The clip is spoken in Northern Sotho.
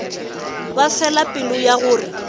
ba fela pelo ya gore